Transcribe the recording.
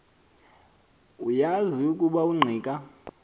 uyazi ukuba ungqika